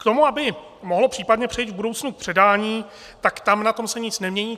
K tomu, aby mohlo případně přejít v budoucnu k předání, tak tam na tom se nic nemění.